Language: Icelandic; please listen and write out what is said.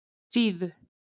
Síðu